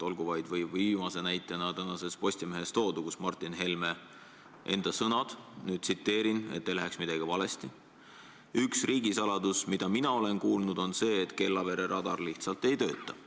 Olgu vaid viimase näitena toodud Martin Helme enda sõnad tänasest Postimehest: "Üks riigisaladus, mida mina olen kuulnud, on see, et Kellavere radar lihtsalt ei tööta.